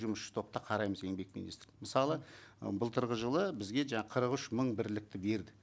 жұмысшы топта қараймыз еңбек министрлігі мысалы ы былтырғы жылы бізге жаңа қырық үш мың бірлікті берді